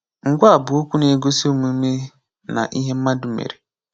Ngwaa bụ okwu na-egosi omume na ihe mmadụ mere